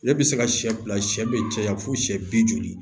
Ale bɛ se ka sɛ fila sɛ bɛ caya fo siyɛ bi duuru